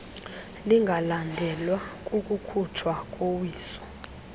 lingalandelwa kukukhutshwa kowiso